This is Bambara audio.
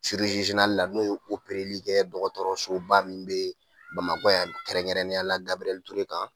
la n'o ye opereli kɛ dɔgɔtɔrɔsoba min bɛ bamakɔ yan nɔ kɛrɛnkɛrɛnnenya la Gabiriyɛli Ture kan